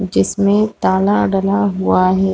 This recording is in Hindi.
जिसमें ताला डला हुआ है।